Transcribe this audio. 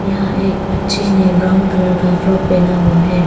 यहां एक बच्चे ने ब्राउन कलर का फ्रॉक पहना हुआ है।